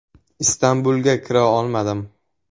Istanbulga kira olmadim.